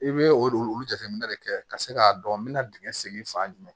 I bɛ o de olu jateminɛ de kɛ ka se k'a dɔn n bɛ na dingɛn segin fan jumɛn